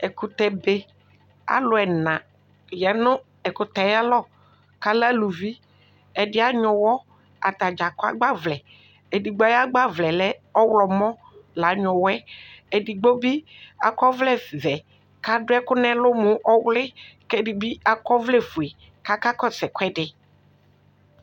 Ɛkʋtɛbe Alʋ ɛna aya nʋ ɛkʋtɛ yɛ ayalɔ kʋ alɛ aluvi Ɛdɩ anyʋ ʋɣɔ Ata dza akɔ agbavlɛ Edigbo ayʋ agbavlɛ yɛ lɛ ɔɣlɔmɔ la anyʋɛ ʋɣɔ yɛ Edigbo bɩ akɔ ɔvlɛvɛ kʋ adʋ ɛkʋ nʋ ɛlʋ mʋ ɔwlɩ kʋ ɛdɩ bɩ akɔ ɔvlɛfue kʋ akakɔsʋ ɛkʋɛdɩ